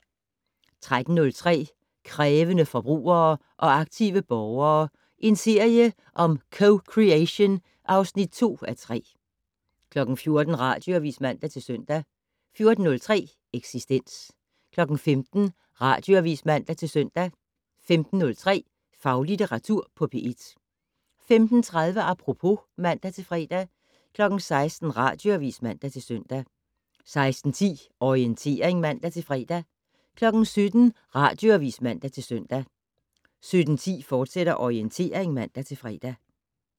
13:03: Krævende forbrugere og aktive borgere - en serie om co-creation (2:3) 14:00: Radioavis (man-søn) 14:03: Eksistens 15:00: Radioavis (man-søn) 15:03: Faglitteratur på P1 15:30: Apropos (man-fre) 16:00: Radioavis (man-søn) 16:10: Orientering (man-fre) 17:00: Radioavis (man-søn) 17:10: Orientering, fortsat (man-fre)